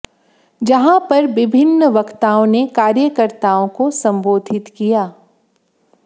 जहां पर विभिन्न वक्ताओं ने कार्यकर्ताओं को संबोधित किया